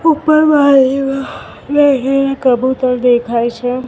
ઉપર બારીમાં કબુતર દેખાય છે.